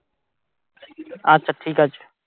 আচ্ছা ঠিক আছে